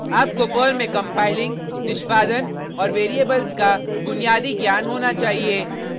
आपको पर्ल में कंपाइलिंग निष्पादन औऱ वेरिएबल्स का बुनियाद ज्ञान होना चाहिए